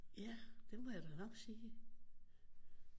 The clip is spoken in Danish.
Ja det må jeg da nok sige